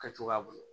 Kɛcogoya bolo